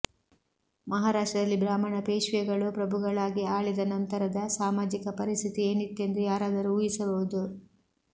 ಮಹಾರಾಷ್ಟ್ರದಲ್ಲಿ ಬ್ರಾಹ್ಮಣ ಪೇಶ್ವೆಗಳು ಪ್ರಭುಗಳಾಗಿ ಆಳಿದ ನಂತರದ ಸಾಮಾಜಿಕ ಪರಿಸ್ಥಿತಿ ಏನಿತ್ತೆಂದು ಯಾರಾದರೂ ಊಹಿಸಬಹುದು